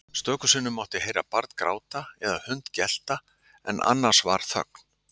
Stöku sinnum mátti heyra barn gráta eða hund gelta en annars var þögn.